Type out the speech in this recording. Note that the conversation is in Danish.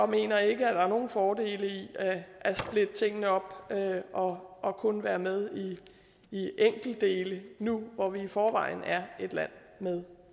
mener ikke at der er nogen fordele i at splitte tingene op og og kun være med i enkeltdele nu hvor vi i forvejen er et land med